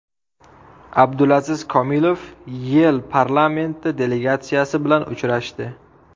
Abdulaziz Komilov YeI parlamenti delegatsiyasi bilan uchrashdi.